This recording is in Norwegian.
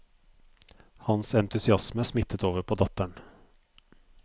Hans entusiasme smittet over på datteren.